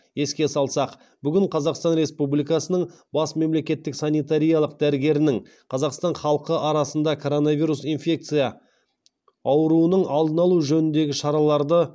еске салсақ бүгін қазақстан рсепубликасының бас мемлекеттік санитариялық дәрігерініңқазақстан халқы арасында коронавирус инфекция ауруының алдын алу жөніндегі шараларды